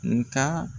Nga